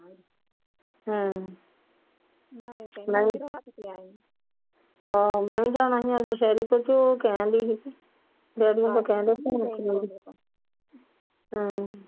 ਹਮ ਨਾਲੇ ਹਾਂ ਨਾਲੇ ਜਾਵਾ ਗਈਆਂ ਅੱਜ ਸ਼ਹਿਰੀ ਕੁਝ ਉਹ ਕਹਿੰਦੀ ਸੀ Daddy ਆਉਦੋ ਹਮ